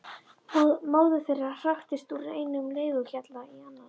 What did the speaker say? Móðir þeirra hraktist úr einum leiguhjalli í annan.